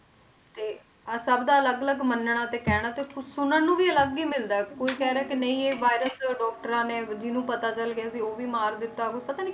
ਤੇ ਆਹ ਸਭ ਦਾ ਅਲੱਗ ਅਲੱਗ ਮੰਨਣਾ ਤੇ ਕਹਿਣਾ ਤੇ ਸੁਣਨ ਨੂੰ ਵੀ ਅਲੱਗ ਹੀ ਮਿਲਦਾ ਹੈ ਕੋਈ ਕਹਿ ਰਿਹਾ ਕਿ ਨਹੀਂ ਇਹ virus doctors ਨੇ ਜਿਹਨੂੰ ਪਤਾ ਚੱਲ ਗਿਆ ਸੀ, ਉਹ ਵੀ ਮਾਰ ਦਿੱਤਾ, ਪਤਾ ਨੀ,